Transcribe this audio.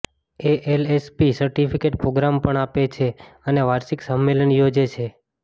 ALSP certificate programme પણ આપે છે અને વાર્ષિક સંમેલન યોજે છે